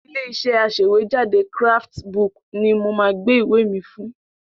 Ilé-iṣẹ́ aṣèwéjádé Craftsbook ni mo máa gbé ìwé mi fún.